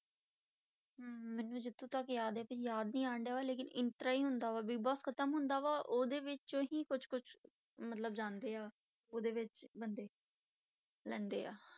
ਹਮ ਮੈਨੂੰ ਜਿੱਥੋਂ ਤੱਕ ਯਾਦ ਹੈ ਯਾਦ ਨਹੀਂ ਆਉਂਦਾ ਵਾ ਲੇਕਿੰਨ ਇਸ ਤਰ੍ਹਾਂ ਹੀ ਹੁੰਦਾ ਵਾ ਬਿਗ ਬੋਸ ਖਤਮ ਹੁੰਦਾ ਵਾ, ਉਹਦੇ ਵਿੱਚੋਂ ਹੀ ਕੁਛ ਕੁਛ ਮਤਲਬ ਜਾਂਦੇ ਆ, ਉਹਦੇ ਵਿੱਚ ਬੰਦੇ ਲੈਂਦੇ ਆ